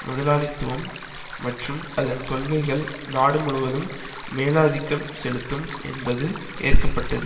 முதலாளித்துவம் மற்றும் அதன் கொள்கைகள் நாடு முழுவதும் மேலாதிக்கம் செலுத்தும் என்பது ஏற்க பட்டது